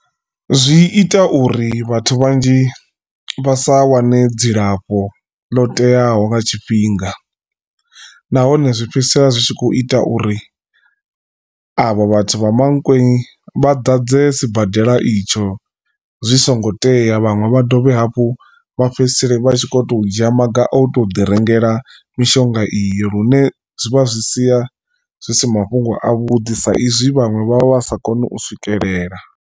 Zwi ita uri vhathu vhanzhi vha sa wane dzilafho lo teaho nga tshifhinga nahone zwi fhedzisela zwi tshi kho ita uri avho vhathu vha Mankweng vha ḓadze sibadela itsho zwi songo tea vhaṅwe vha dovhe hafhu vha fhedzisele vha tshi kho to dzhia maga o to ḓi rengela mishonga iyo lune zwi vha zwi sia zwi si mafhungo a vhuḓi sa izwi vhaṅwe vha vha sa koni u swikelela.